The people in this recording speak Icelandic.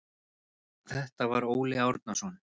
Þetta var Óli Árnason.